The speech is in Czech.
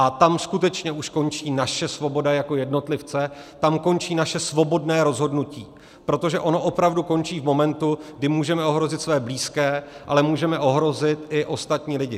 A tam skutečně už končí naše svoboda jako jednotlivce, tam končí naše svobodné rozhodnutí, protože ono opravdu končí v momentu, kdy můžeme ohrozit své blízké, ale můžeme ohrozit i ostatní lidi.